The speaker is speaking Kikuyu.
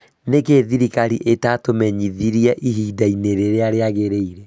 Nĩkĩ thirikari ĩtatũmenyithirie ihinda-inĩ rĩrĩa rĩagĩrĩire?